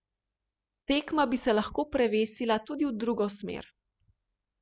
Tekma bi se lahko prevesila tudi v drugo smer.